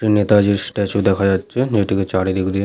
একটি নেতাজির স্ট্যাচু দেখা যাচ্ছে যেটিকে চারিদিক দিয়ে--